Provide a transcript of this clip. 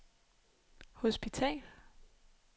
hospital